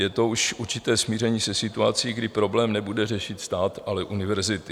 Je to už určité smíření se situací, kdy problém nebude řešit stát, ale univerzity.